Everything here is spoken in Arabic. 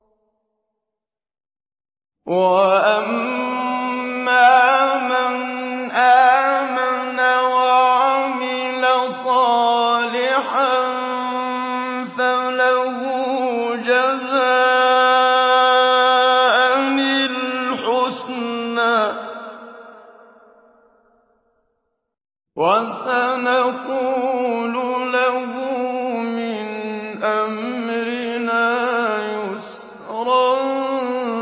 وَأَمَّا مَنْ آمَنَ وَعَمِلَ صَالِحًا فَلَهُ جَزَاءً الْحُسْنَىٰ ۖ وَسَنَقُولُ لَهُ مِنْ أَمْرِنَا يُسْرًا